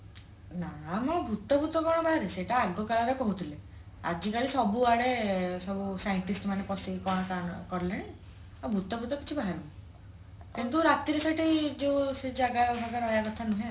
ନା ମ ଭୁତ ଫୁତ କଣ ବାହାରେ ସେଇଟା ଆଗ କାଳରେ କହୁଥିଲେ ଆଜିକାଲି ସବୁଆଡେ ସବୁ scientist ମାନେ ପସିକି କଲେଣି ଆଉ ଭୁତ ଫୁତ କିଛି ବାହାରିନି କିନ୍ତୁ ରାତିରେ ସେଠି ଯୋଉ ସେଇ ଜାଗା ରହିବା କଥା ନୁହେଁ ଆଉ